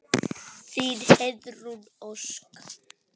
Þín, Heiðrún Ósk.